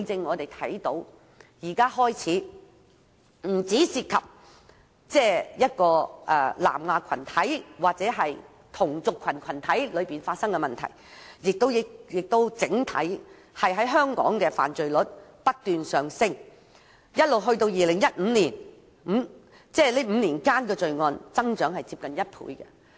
我們看到現在不單涉及南亞裔同族群體發生問題，也導致整體香港犯罪率上升，直至2015年這5年間的罪案增長接近1倍。